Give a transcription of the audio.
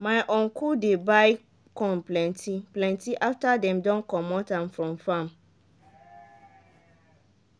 my uncle dey buy corn plenty-plenty after dem don comot am from farm